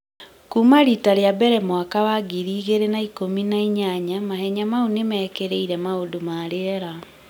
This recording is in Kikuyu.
Kuuma rita rĩa mbere mwaka wa ngiri igĩrĩ na ikũmi na inyanya , mahenya mau nĩ mĩkĩreire maũndũ ma rĩera.